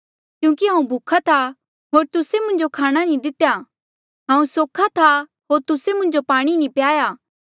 क्यूंकि हांऊँ भूखा था होर तुस्से मुंजो खाणे जो नी दितेया हांऊँ सोख्हा था होर तुस्से मुंजो पाणी नी प्याया